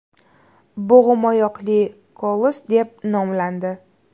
Bo‘g‘imoyoqli Koloss deb nomlandi.